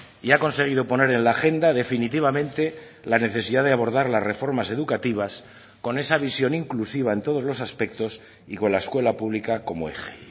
y ha conseguido poner en la agenda definitivamente la necesidad de abordar las reformas educativas con esa visión inclusiva en todos los aspectos y con la escuela pública como eje